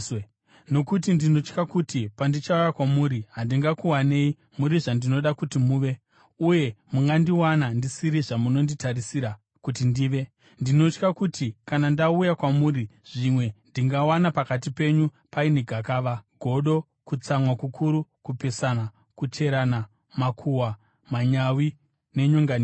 Nokuti ndinotya kuti pandichauya kwamuri handingakuwanei muri zvandinoda kuti muve, uye mungandiwana ndisiri zvamunonditarisira kuti ndive. Ndinotya kuti kana ndauya kwamuri zvimwe ndingawana pakati penyu paine gakava, godo, kutsamwa kukuru, kupesana, kucherana, makuhwa, manyawi nenyonganiso.